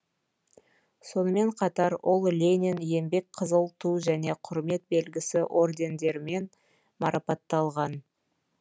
сонымен қатар ол ленин еңбек қызыл ту және құрмет белгісі ордендерімен марапатталған